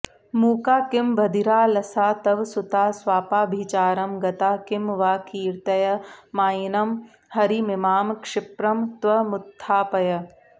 मूका किं बधिरालसा तव सुता स्वापाभिचारं गता किं वा कीर्तय मायिनं हरिमिमां क्षिप्रं त्वमुत्थापय